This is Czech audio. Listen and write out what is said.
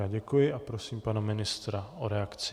Já děkuji a prosím pana ministra o reakci.